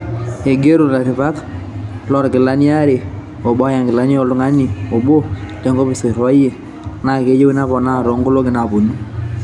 Eigero laripak lookilani aare, obo oya inkilani o ltung'ani onbo le nkopis oiriwari, naa keyieu nepoona too nkolongi naaponu